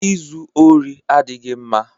Ịzu ori adịghị mma